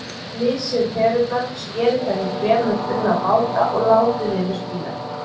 Flysjið perurnar, skerið þær í fremur þunna báta og látið yfir spínatið.